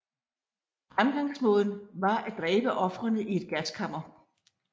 Fremgangsmåden var at dræbe ofrene i et gaskammer